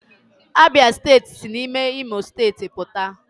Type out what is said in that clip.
Abia steeti si n'ime imo steeti puta